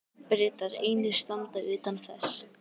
Bretar einir standa utan þess.